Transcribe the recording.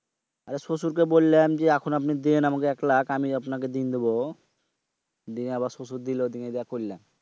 আরে শশুরকে বললাম এখন আপনি দেন আমাকে এক লাক্ষ আমি আপনাকে দিনদেব। দেন আবার শশুর দিল তা দিয়ে করলাম।